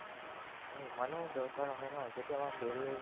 আমি ইমানো দৰকাৰ নহয় ন যদি আমাৰ daily